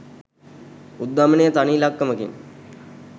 උද්ධමනය තනි ඉලක්කමකින්